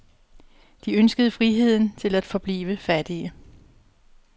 De ønskede friheden til at forblive fattige.